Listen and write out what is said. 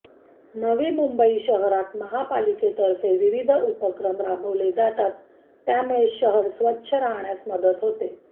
नवी मुंबई शहरात महापालिकेतर्फे विविध उपक्रम राबवले जातात त्यामुळे शहर स्वच्छ राहण्यास मदत होते